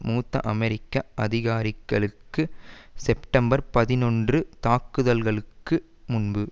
மூத்த அமெரிக்க அதிகாரிகக்ளுக்கு செப்டம்பர் பதினொன்று தாக்குதல்களுக்கு முன்பு